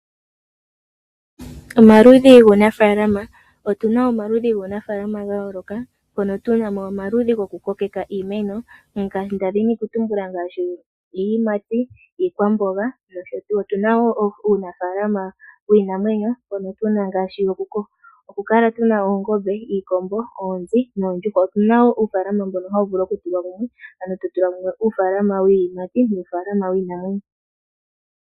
Omaludhi guunafalama Otu na omaludhi guunafalama ga yooloka. Otu na mo omaludhi gokukokeka iimeno ngaashi iiyimati, iikwamboga nosho tuu. Otu na wo uunafaalama wiinamwenyo, moka tu na mo ngaashi okukala tu na oongombe, iikombo, ooi noondjuhwa. Otu na wo uunafaalama mbono hawu vulu okutula mumwe, ano to tula mumwe uunafaalama wiiyimati nuunafaalama wiinamwenyo.